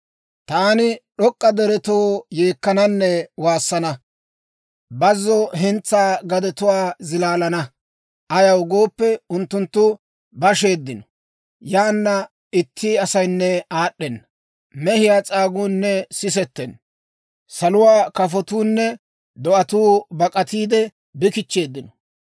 Taani d'ok'k'a deretoo yeekkananne waassana; bazzo hentsaa gadetuwaa zilaalana. Ayaw gooppe, unttunttu basheeddino; yaana itti asaynne aad'd'ena. Mehiyaa s'aaguunne sisettenna; saluwaa kafotuunne do'atuu bak'atiide bi kichcheeddino.